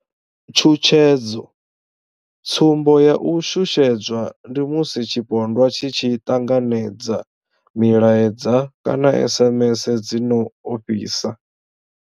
Tshutshedzo, Tsumbo ya u shushedzwa ndi musi tshipondwa tshi tshi ṱanganedza milaedza kana SMS dzi no ofhisa.